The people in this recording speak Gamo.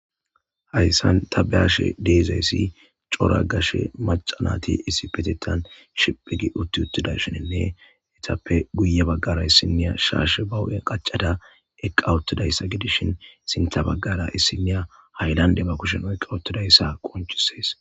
Hayissan taa be'ashshe de'izayyi cora gashshe maca nayitti issipetetan shiphphi gii utti uttidayissanne etappe guye bagara isiniya shashshe baa huphphenn qachchada etappe sinththe bagara issinaya hayilandde oyikidayisa besses.